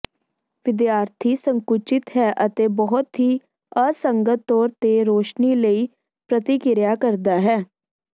ਵਿਦਿਆਰਥੀ ਸੰਕੁਚਿਤ ਹੈ ਅਤੇ ਬਹੁਤ ਹੀ ਅਸੰਗਤ ਤੌਰ ਤੇ ਰੌਸ਼ਨੀ ਲਈ ਪ੍ਰਤੀਕ੍ਰਿਆ ਕਰਦਾ ਹੈ